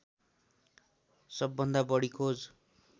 सबभन्दा बढी खोज